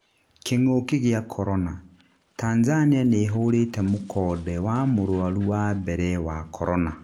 Kĩng'ũki gĩa Korona: Tanzania nĩhũrĩte mũkonde wa mũrwaru wa mbere wa Korona